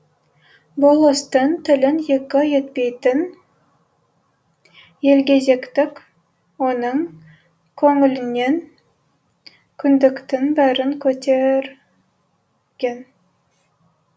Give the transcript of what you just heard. болыстың тілін екі етпейтін елгезектік оның көңілінен күдіктің бәрін көтірген